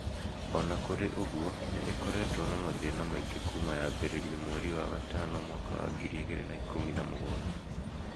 O na kũrĩ ũguo, nĩ ĩkoretwo na mathĩĩna maingĩ kuma yaambĩrĩrio mweri wa gatano mwaka wa ngiri igĩrĩ na ikũmi na mũgwanja.